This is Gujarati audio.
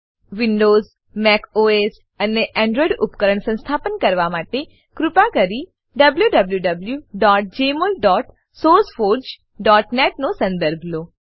વિન્ડોવ્ઝ મેક ઓએસ અને એનડ્રોઇડ ઉપકરણ પર સંસ્થાપન કરવા માટે કૃપા કરી wwwjmolsourceforgenet નો સંદર્ભ લો